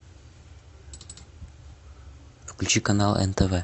включи канал нтв